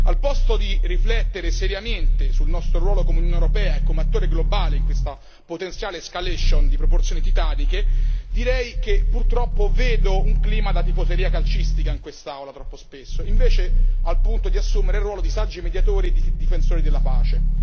Al posto di riflettere seriamente sul nostro ruolo come Unione europea e come attore globale in questa potenziale escalation di proporzioni titaniche, direi che purtroppo vedo un clima da tifoseria calcistica in quest'aula, troppo spesso invece al punto di assumere il ruolo di saggi mediatori e difensori della pace.